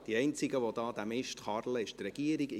Die einzige, die den Mist führt, ist die Regierung.